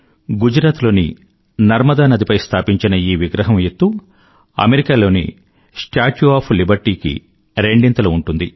గుజరాత్ లో నర్మదా నదిపై స్థాపించిన ఈ విగ్రహం ఎత్తు అమెరికా లోని స్టాచ్యూ ఒఎఫ్ లిబర్టీ కి రెండింతలు ఉంటుంది